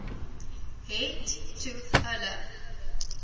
het toe hulle